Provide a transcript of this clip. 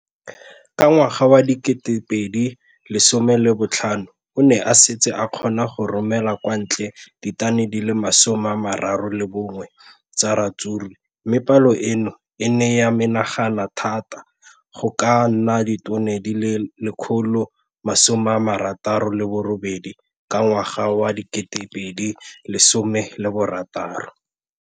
Ka ngwaga wa 2015, o ne a setse a kgona go romela kwa ntle ditone di le 31 tsa ratsuru mme palo eno e ne ya menagana thata go ka nna ditone di le 168 ka ngwaga wa 2016.